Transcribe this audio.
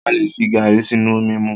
A lè fi garri sínú omi mu.